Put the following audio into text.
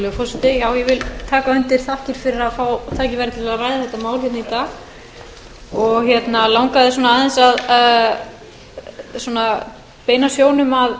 virðulegur forseti ég vil taka undir þakkir fyrir að fá tækifæri til að ræða þetta mál hérna í dag og langaði svona aðeins að beina sjónum að